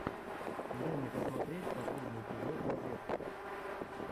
дай мне посмотреть последний эпизод розетки